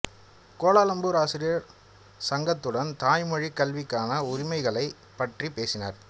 Kuala Lumpur ஆசிரியர் சங்கத்துடன் தாய்மொழிக் கல்விக்கான உரிமைகளைப் பற்றி பேசினார்